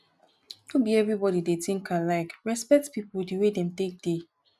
no be everybody dey think alike respect pipo di way dem take dey